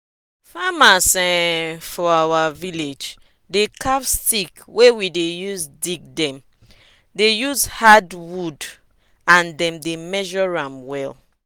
farmers um for our village dey carve stick wey we dey use dig dem dey use hard wood and dem dey measure am well.